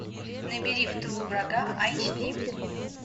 набери в тылу врага айч ди